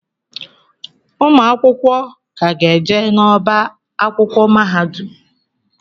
Ụmụ akwụkwọ ka ga-eje n'ọba akwụkwọ mahadum.